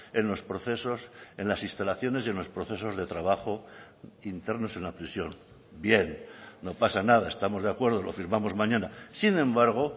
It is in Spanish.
en los procesos en las instalaciones y en los procesos de trabajo internos en la prisión bien no pasa nada estamos de acuerdo lo firmamos mañana sin embargo